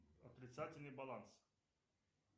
отрицательный баланс